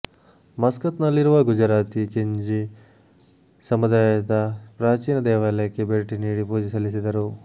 ಮಸ್ಕತ್ನಲ್ಲಿರುವ ಗುಜರಾತಿ ಕಿಂಜಿ ಸಮುದಾಯದ ಪ್ರಾಚೀನ ದೇವಾಲಯಕ್ಕೆ ಭೇಟಿ ನೀಡಿ ಪೂಜೆ ಸಲ್ಲಿಸಿದರು